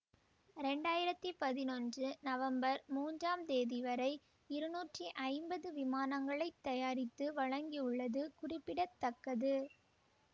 இரண்டு ஆயிரத்தி பதினொன்று நவம்பர் மூன்றாம் தேதிவரை இருநூற்றி ஐம்பது விமானங்களைத் தயாரித்து வழங்கியுள்ளது குறிப்பிட தக்கது